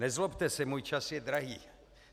Nezlobte se, můj čas je drahý.